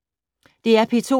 DR P2